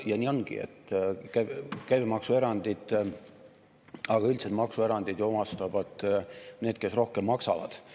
Ja nii ongi, et käibemaksuerandid, aga üldiselt maksuerandid omastavad need, kes rohkem maksavad.